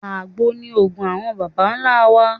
Àgbo ni òògùn àwọn bàbá ńlá wa.